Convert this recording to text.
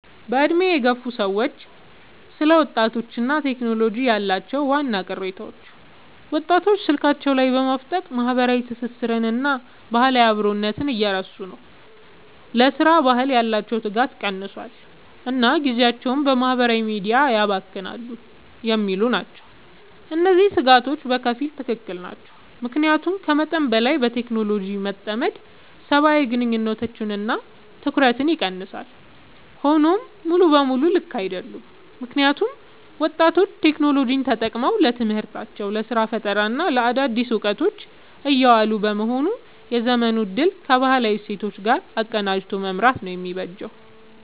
በዕድሜ የገፉ ሰዎች ስለ ወጣቶችና ቴክኖሎጂ ያላቸው ዋና ቅሬታዎች፦ ወጣቶች ስልካቸው ላይ በማፍጠጥ ማህበራዊ ትስስርንና ባህላዊ አብሮነትን እየረሱ ነው: ለሥራ ባህል ያላቸው ትጋት ቀንሷል: እና ጊዜያቸውን በማህበራዊ ሚዲያ ያባክናሉ የሚሉ ናቸው። እነዚህ ስጋቶች በከፊል ትክክል ናቸው። ምክንያቱም ከመጠን በላይ በቴክኖሎጂ መጠመድ ሰብአዊ ግንኙነቶችንና ትኩረትን ይቀንሳል። ሆኖም ሙሉ በሙሉ ልክ አይደሉም: ምክንያቱም ወጣቶች ቴክኖሎጂን ተጠቅመው ለትምህርታቸው: ለስራ ፈጠራና ለአዳዲስ እውቀቶች እያዋሉት በመሆኑ የዘመኑን እድል ከባህላዊ እሴቶች ጋር አቀናጅቶ መምራት ነው የሚበጀው።